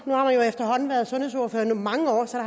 nu har jeg efterhånden været sundhedsordfører i mange år så